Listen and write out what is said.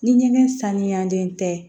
Ni ɲɛgɛn saniyalen tɛ